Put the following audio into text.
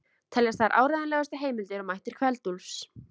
Teljast þær áreiðanlegustu heimildir um ættir Kveld-Úlfs.